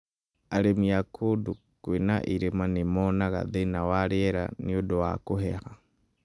Arĩmi a kũndũ kwĩna ĩrĩma nĩ monaga thĩna wa rĩera nĩũndũ wa kũheha